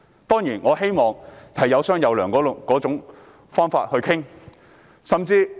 當然，我希望大家以有商有量的方式進行討論。